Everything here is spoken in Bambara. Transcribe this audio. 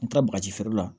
N taara bagaji feere la